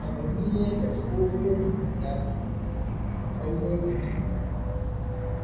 A garin Leagas ko hadari ba za ka gani ba, sai dai ka ji ruwa.